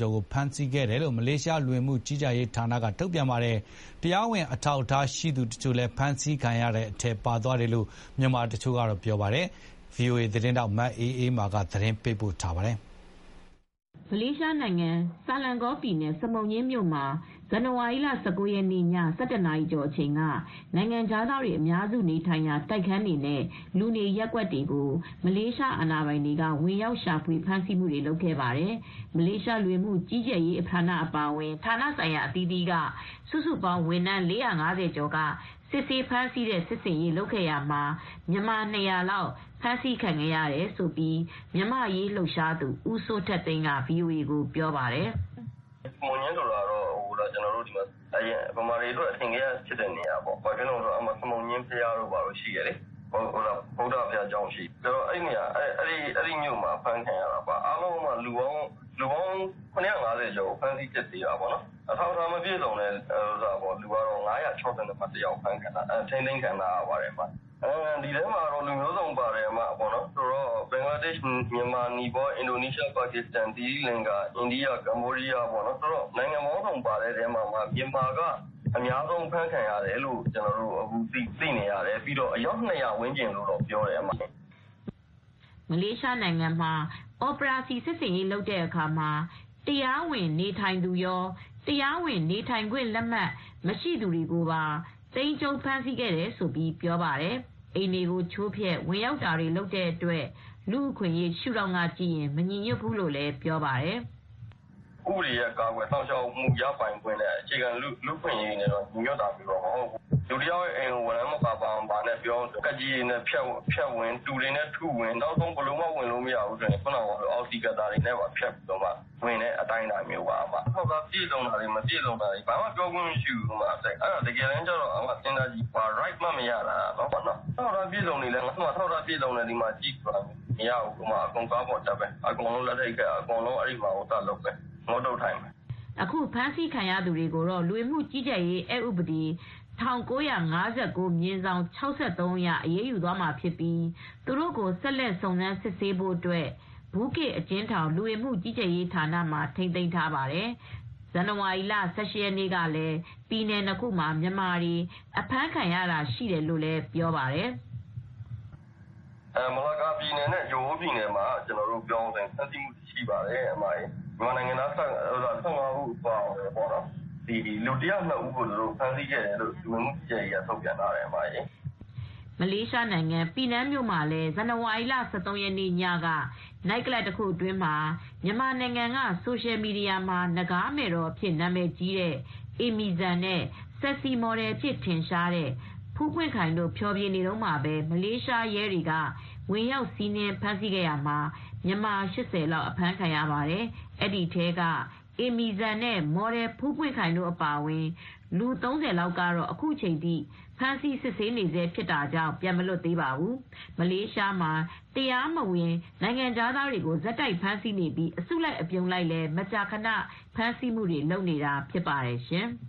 ကျော်ကို ဖမ်းဆီးခဲ့ပြီး မြန်မာ ၂၀၀ လောက်ပါဝင်တယ်လို့ မလေးရှားလူဝင်မှု ကြီးကြပ်ရေးဌာနက သတင်းထုတ်ပြန်ထားပါတယ်။ ရဲတွေ ဝင်ရောက်ဖမ်းဆီးစဉ် တရားဝင်အထောက်အထား ရှိသူတွေကိုပါ သိမ်းကြုံးဖမ်းဆီးသွားတယ်လို့ မြန်မာတချို့က ပြောပါတယ်။ ဗွီအိုအေသတင်းထောက် မအေးအေးမာ က သတင်းပေးပို့ထားပါတယ်။ မလေးရှားနိုင်ငံ၊ ဆာလန်ဂေါပြည်နယ်၊ စမုံညှင်းမြို့မှာ ဇန်နဝါရီလ ၁၉ ရက်နေ့ည ၁၁ နာရီကျော်အချိန်က နိုင်ငံခြားသားတွေအများစု နေထိုင်ရာ တိုက်ခန်းတွေနဲ့ လူနေရပ်ကွက်တွေကို မလေးရှားအာဏာပိုင်တွေ ဝင်ရောက်ရှာဖွေ ဖမ်းဆီးမှုတွေ လုပ်ခဲ့ပါတယ်။ မလေးရှား လူဝင်မှုကြီးကြပ်ရေး အပါအဝင် ဌာနဆိုင်ရာ အသီးအသီးက စုစုပေါင်း ဝန်ထမ်း ၄၅၀ ကျော်က စစ်ဆေးဖမ်းဆီးတဲ့ စစ်ဆင်ရေး လုပ်ခဲ့တာမှာ မြန်မာ ၂၀၀ လောက် ဖမ်းဆီးခံခဲ့ရတယ်လို့ မြန်မာ့အရေးလှုပ်ရှားသူ ဦးစိုးထက်သိမ်းက VOA ကိုပြောပါတယ်။ "စမုံညှင်းဆိုတာကတော့ မြန်မာတွေအတွက်တော့ အထင်ကရ ဖြစ်တဲ့နေရာတခုပါပဲ ဘာဖြစ်လို့လဲဆိုတော့ စမုံညှင်းမှာ ဗုဒ္ဓဘာသာ ဘုရားကျောင်းလည်း ရှိတယ်။ အဲဒီမြို့မှာ အဖမ်းခံရတာပေါ့နော် အားလုံးလူပေါင်း ၇၅၀ကျော်ကို ဖမ်းဆီးစစ်ဆေးတာပေါ့နော်။ အထောက်အထား မပြည့်စုံသူ ၅၆၁ ယောက် အဖမ်းခံရတယ်။ အဲဒီမှာ လူမျိုးစုံပါတယ်။ ဘင်္ဂလားဒေရှ့် မြန်မာ၊ နီပေါလ်၊ ပါကစ္စတန်၊ အင်ဒိုနီးရှား၊ သီရိလင်္ကာ၊ ကမ္ဘောဒီးယား၊ အိန္ဒိယ စတဲ့ လူမျိုးပေါင်းစုံပါတယ် အဲဒီထဲမှာ မြန်မာက ၂၀၀ လောက်ပါတယ်လို့ သိရပါတယ်။" မလေးရှားနိုင်ငံမှာ အော်ပရာစီ စစ်ဆင်ရေး လုပ်တဲ့အခါမှာ တရားဝင်နေထိုင်သူရော၊ တရားဝင် နေထိုင်ခွင့်လက်မှတ် မရှိသူတွေကိုပါ သိမ်းကြုံး ဖမ်းဆီးခဲ့တယ်လို့ ပြောပါတယ်။ အိမ်တွေကို ချိုးဖျက်ဝင်ရောက်တာတွေ လုပ်တဲ့အတွက် လူ့အခွင့်ရေး ရှုဒေါင့်ကကြည့်ရင် မညီညွတ်ဖူးလို့လည်း ပြောပါတယ်။ "ဥပဒေရဲ့ ကာကွယ်စောင့်ရှောက်မှု ရပိုင်ခွင့် အခြေခံလူအခွင့်အရေးနဲ့ ညီညွတ်တာမျိုးတော့ မဟုတ်ဘူး။ ဘာ၀ရမ်းမှာ မပါဘဲ။ လူတယောက်ရဲ့ အိမ်ကို တူတွေနဲ့ ထု၀င်တယ်။ ကပ်ကြေးတွေနဲ့ ဖြတ်ဝင်တယ်။ ဘယ်လို့မှ ဝင်မရဘူးဆိုရင် အောက်စီ Cutter တွေနဲ့ ဖြတ်ဝင်တယ်။ အထောက်အထားတွေ ပြည့်စုံလည်း ပြောပိုင်ခွင့်မရှိဘူး။ တကယ်တန်းကျတော့ ဘာအခွင့်ရေးမှ မရဘူး။ အထောက်အထား ပြည်စုံလည်း၊ ငါ့မှာရှိတယ်လို့ ပြောလည်းမရဘူး။ ဘာမှ ပြောခွင့်မရှိဘူး။ အကုန်ကားပေါ်တက် အကုန်လက်ထိပ်ခတ် ထိုင်ခိုင်းတယ် အဲဒါတွေလုပ်တယ်။" အခုအဖမ်းအဆီး ခံရသူတွေကိုတော့ လူဝင်မူ့ကြီးကြပ်ရေးအက်ဥပဒေ ၁၉၅၉/၆၃ အရ အရေးယူမှာ ဖြစ်ပြီး၊ သူတို့ကို ဆက်စုံစမ်းစစ်ဆေးဖို့အတွက် ဘူးကေ့အကျဉ်းထောင် လူဝင်မှု ကြီးကြပ်ရေးဌာနမှာ ထိမ်းသိမ်းထားပါတယ်။ ဇန်နဝါရီလ ၁၈ ရက်နေ့ကလည်း ပြည်နယ် ၂ ခုမှာ မြန်မာတွေ အဖမ်းခံရတာရှိတယ်လို့ ပြောပါတယ်။ "လကာပြည်နယ်နဲ့ ဂျိုဟိုးပြည်နယ်တွေမှာ ပြောရမယ်ဆိုရင် ဖမ်းဆီးမူတွေရှိတယ်။ န်မာနိုင်ငံသားတွေ ၁၅ ဦး အပါအဝင် လူ ၁၀၂ ဦးကို ဖမ်းဆီးခဲ့တယ်လို့လည်းလ၀ကက သတင်းထုတ်ပြန်ထားပါတယ်။" မလေးရှားနိုင်ငံ ပီနန်းမြို့မှာ လည်း ဇန်နဝါရီလ ၁၃ ရက်နေ့ညက နိုက်ကလပ်တခုအတွင်းမှာ မြန်မာနိုင်ငံက ဆိုရှယ်မီဒီယာမှာ နဂါးမယ်တော်အဖြစ် နာမည်ကြီးတဲ့ အေမီဈာန်နဲ့ Sexy မော်ဒယ်အဖြစ်ထင်ရှားတဲ့ ဖူးပွင့်ခိုင်တို့ ဖျော်ဖြေနေတုန်းမှာပဲ မလေးရှားရဲတွေက ဝင်ရောက်စီးနင်းဖမ်းဆီးရာမှာ မြန်မာ ၈၀ လောက်အဖမ်းခံရပါတယ်။ အဲဒီထဲက အေမီဈာန်နဲ့ မော်ဒယ်ဖူးပွင့်ခိုင်အပါအဝင် လူ၃၀ လောက်ကတော့အခုချိန် ဖမ်းဆီး စစ်ဆေးနေဆဲဖြစ်တာကြောင့် ပြန်မလွတ်သေးပါဘူး။ မလေးရှားမှာ တရားမဝင် နိုင်ငံခြားသားတွေကို ဆက်တိုက်ဖမ်းဆီးနေပြီး အစုလိုက်အပြုံလိုက်လည်း မကြာခဏ ဖမ်းဆီးမှုတွေ လုပ်နေတာ ဖြစ်ပါတယ်ရှင်